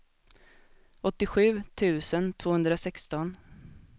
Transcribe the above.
åttiosju tusen tvåhundrasexton